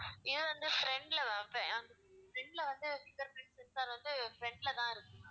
இது வந்து front ல ma'am இப்ப~ ஹம் front ல வந்து finger print sensor வந்து front ல தான் இருக்கும் ma'am